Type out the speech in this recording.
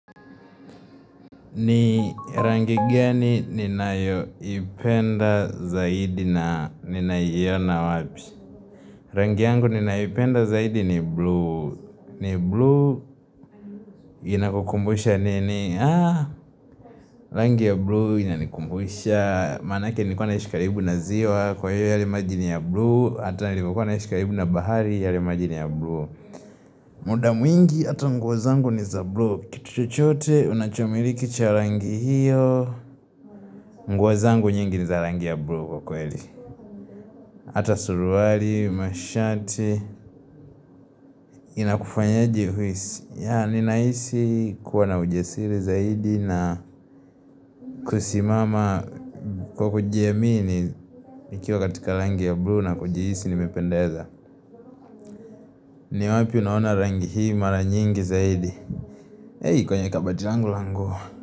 Ni rangi gani ninayoipenda zaidi na ninaiona wapi? Rangi yangu ninayoipenda zaidi ni blue. Ni blue inakukumbusha nini? Haa, rangi ya blue inakukumbusha. Maanake nilikua naishi karibu na ziwa kwa hivyo yale maji ni ya blue. Ata nilipokuwa naishi karibu na bahari yale maji ni ya blue. Muda mwingi ata nguo zangu ni za blue. Kitu chochote unachomiliki cha rangi hiyo. Nguo zangu nyingi ni za rangi ya blue kwa kweli Hata suruali, mashati Inakufanyaje uhisi ya ninaisi kuwa na ujasiri zaidi na kusimama kwa kujiamini Ikiwa katika rangi ya blue na kujihisi nimependeza ni wapi unaona rangi hii mara nyingi zaidi Hei kwenye kabati langu la nguo.